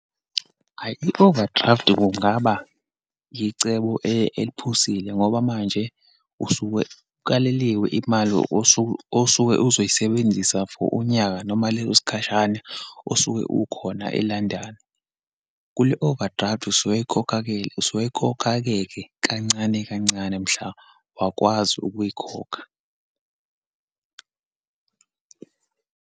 Hhayi, i-overdraft kungaba yicebo eliphusile ngoba manje usuke ukaleliwe imali osuke, osuke uzoyisebenzisa for unyaka noma leso sikhashana osuke ukhona e-London. Kule overdraft, usuyikhokha-ke, usuyikhokha-ke ke kancane kancane, mhla wakwazi ukuyikhokha.